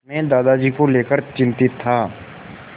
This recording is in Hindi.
मैं दादाजी को लेकर चिंतित था